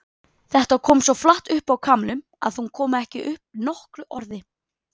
Þetta kom svo flatt upp á Kamillu að hún kom ekki upp nokkru orði.